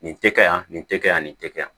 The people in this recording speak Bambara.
Nin tɛ kɛ yan nin tɛ kɛ yan nin tɛ kɛ yan